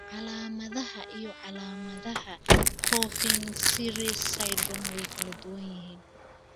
Calaamadaha iyo calaamadaha Coffin Siris syndrome way kala duwan yihiin.